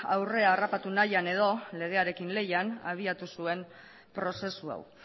aurre harrapatu nahian edo legearen lehian abiatu zuen prozesu hau